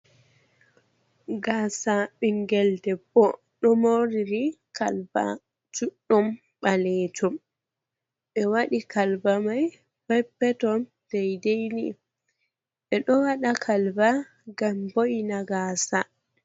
Gasa ɓingel debbo ɗo mori morɗi kalba juɗɗum ɓalejum, ɓe wadi kalbamai pepper ton dai dei ni, ɓe ɗo waɗa kalba ngam bo’ina gasa.